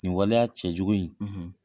Nin waleya cɛ jugu in, .